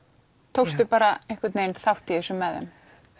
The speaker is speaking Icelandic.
tókstu bara einhvern vegin þátt í þessu með þeim